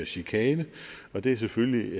chikane og det er selvfølgelig